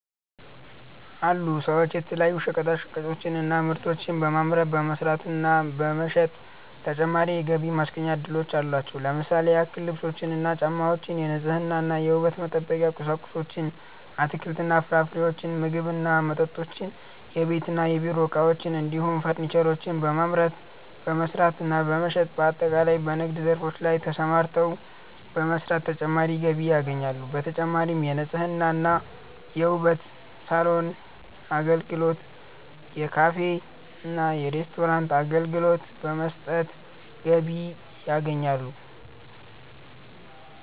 አሉ ሰዎች የተለያዩ ሸቀጣሸቀጦችን እና ምርቶችን በማምረት፣ በመስራት እና በመሸጥ ተጨማሪ የገቢ ማስገኛ እድሎች አሏቸው። ለምሳሌ ያክል ልብሶችን እና ጫማወችን፣ የንጽህና እና የውበት መጠበቂያ ቁሳቁሶችን፣ አትክልት እና ፍራፍሬዎችን፣ ምግብ እና መጠጦችን፣ የቤት እና የቢሮ እቃዎችን እንዲሁም ፈርኒቸሮችን በማምረት፣ በመስራት እና በመሸጥ በአጠቃላይ በንግድ ዘርፎች ላይ ተሰማርተው በመስራት ተጨማሪ ገቢ ያገኛሉ። በተጨማሪም የንጽህና እና የውበት ሳሎን አገልግሎት፣ የካፌ እና ሬስቶራንት አገልግሎት በመስጠት ገቢ ያገኛሉ።